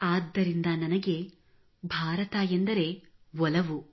ಆದ್ದರಿಂದ ನನಗೆ ಭಾರತ ಎಂದರೆ ಒಲವು